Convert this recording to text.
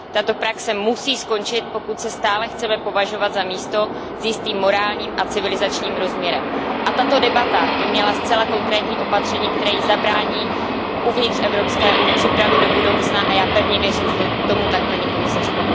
Tato praxe musí skončit, pokud se stále chceme považovat za místo s jistým morálním a civilizačním rozměrem. A tato debata by měla zcela konkrétní opatření, která jí zabrání uvnitř EU, připravit do budoucna a já pevně věřím, že tomu tak bude, paní komisařko.